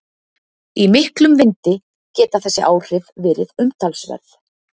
Í miklum vindi geta þessi áhrif verið umtalsverð.